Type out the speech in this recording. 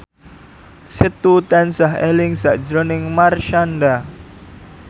Setu tansah eling sakjroning Marshanda